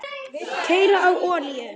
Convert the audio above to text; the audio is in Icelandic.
Keyra á olíu?